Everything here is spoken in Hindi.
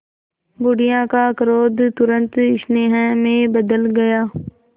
बुढ़िया का क्रोध तुरंत स्नेह में बदल गया